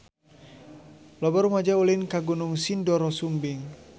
Loba rumaja ulin ka Gunung Sindoro Sumbing